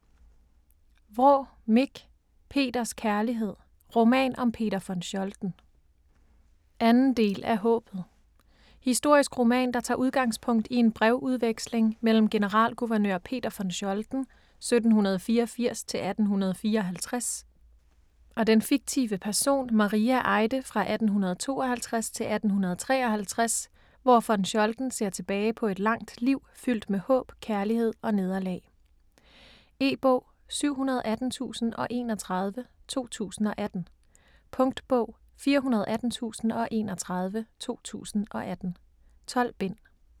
Vraa, Mich: Peters kærlighed: roman om Peter von Scholten 2. del af Haabet. Historisk roman, der tager udgangspunkt i en brevudveksling mellem generalguvernør Peter von Scholten (1784-1854) og den fiktive person Maria Eide fra 1852 til 1853, hvor von Scholten ser tilbage på et langt liv fyldt med håb, kærlighed og nederlag. E-bog 718031 2018. Punktbog 418031 2018. 12 bind.